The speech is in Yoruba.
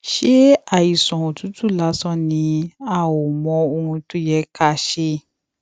ṣé àìsàn òtútù lásán ni a ò mọ ohun tó yẹ ká ṣe